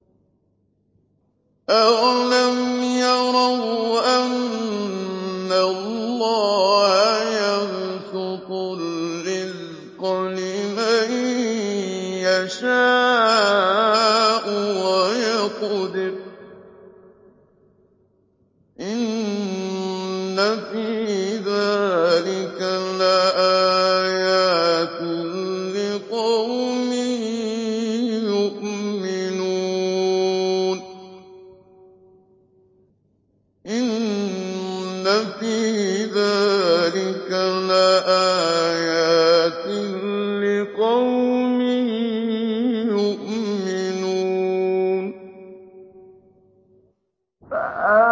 أَوَلَمْ يَرَوْا أَنَّ اللَّهَ يَبْسُطُ الرِّزْقَ لِمَن يَشَاءُ وَيَقْدِرُ ۚ إِنَّ فِي ذَٰلِكَ لَآيَاتٍ لِّقَوْمٍ يُؤْمِنُونَ